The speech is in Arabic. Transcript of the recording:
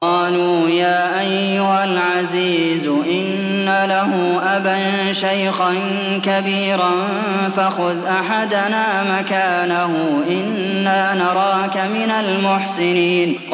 قَالُوا يَا أَيُّهَا الْعَزِيزُ إِنَّ لَهُ أَبًا شَيْخًا كَبِيرًا فَخُذْ أَحَدَنَا مَكَانَهُ ۖ إِنَّا نَرَاكَ مِنَ الْمُحْسِنِينَ